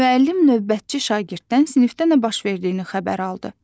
Müəllim növbətçi şagirddən sinifdə nə baş verdiyini xəbər aldı.